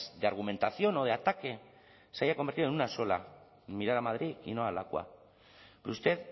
de argumentación o de ataque se haya convertido en una sola en mirar a madrid y no a lakua pero usted